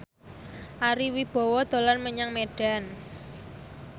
Ari Wibowo dolan menyang Medan